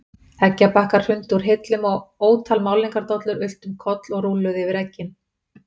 Eggjabakkar hrundu úr hillum og ótal málningardollur ultu um koll og rúlluðu yfir eggin.